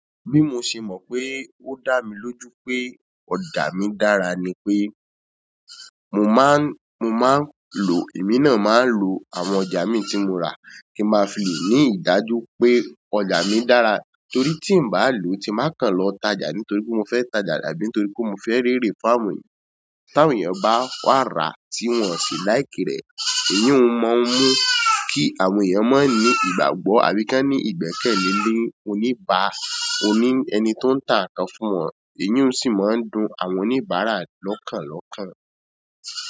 Bí mo ṣe mọ̀ pé ó dá mi lójú pé ọjà mi dára ni pé mo máa ń, mo máa ń lò, èmi náà máa ń lo àwọn ọjà mi tí mo rà kí ń máa fi le ní ìdájú pé ọjà mi dára torí tí n bá lò, tí n ba kàn lọ tajà nítorí mo fẹ́ tajà àbí nítorí pé mo fẹ́ rere fún àwọn ẹ̀yàn. Tí àwọn èèyàn bá wá ra tí wọ́n ò sì like rẹ̀, èyí ó máa ń mú kí àwọn èyàn má ní ìgbàgbọ́ àbí kí wọ́n ní ìgbẹ́kẹ̀lé ní oníbàá, ó ní ẹni tó ń tà tá nkan fún wọn, èyí sì máa ń dùn àwọn oníbàárà lọ́kànlọ́kàn.